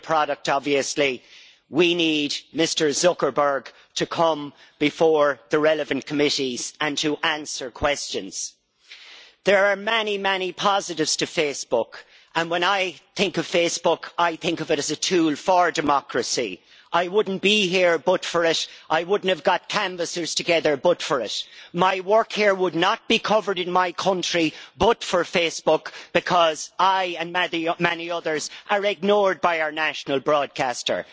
We're the product obviously we need Mr Zuckerberg to come before the relevant committees and to answer questions. There are many, many positives to Facebook. When I think of Facebook, I think of it as a tool for democracy. I wouldn't be here but for it. I wouldn't have gotten canvassers together but for it. My work here would not be covered in my country but for Facebook, because I and many others are ignored by our national broadcaster.